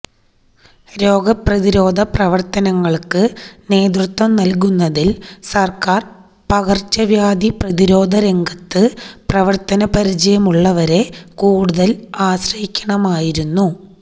രോഗപ്രതിരോധപവർത്തനങ്ങൾക്ക് നേതൃത്വം നൽകുന്നതിൽ സർക്കാർ പകർച്ചവ്യാധി പ്രതിരോധരംഗത്ത് പ്രവർത്തനപരിചയമുള്ളവരെ കൂടുതൽ ആശ്രയിക്കണമായിരുന്നു